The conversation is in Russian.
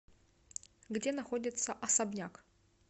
где находится особняк